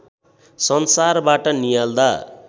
संसारबाट नियाल्दा